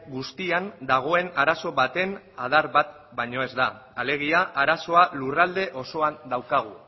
guztian dagoen arazo baten adar bat baino ez da alegia arazoa lurralde osoan daukagu